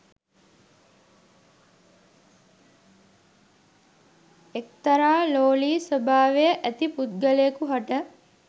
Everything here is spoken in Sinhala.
එක්තරා ලෝලි ස්වභාව ඇති පුද්ගලයකු හට